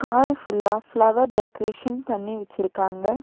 Car ஃபுல்லா flower decoration பண்ணி வெச்சுருக்காங்க.